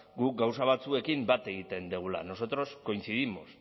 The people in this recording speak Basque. guk gauza batzuekin bat egiten dugula nosotros coincidimos